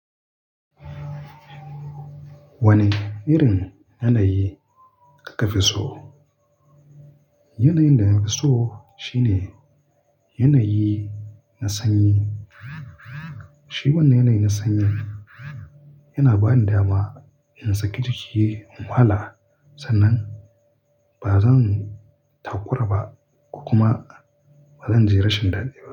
Wane irin yanayi ka fi so? Yanayin da na fi so shine yanayi na sanyi. Shi wannan yanayi na sanyi yana bani dama in saki jiki in wala sannan ba zan takura ba kuma ba zan ji rashin daɗi ba.